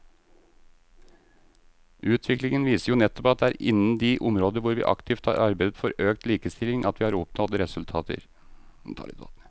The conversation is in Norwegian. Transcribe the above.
Utviklingen viser jo nettopp at det er innen de områder hvor vi aktivt har arbeidet for økt likestilling at vi har oppnådd resultater.